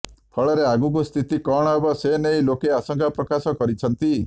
ଫଳରେ ଆଗକୁ ସ୍ଥିତି କଣ ହେବ ସେନେଇ ଲୋକେ ଆଶଙ୍କା ପ୍ରକାଶ କରିଛନ୍ତି